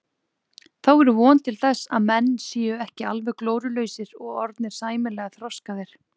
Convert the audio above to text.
Þá er von til þess að menn séu ekki alveg glórulausir og orðnir sæmilega þroskaðir.